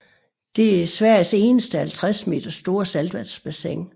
Det er Sveriges eneste 50 meter store saltvandsbassin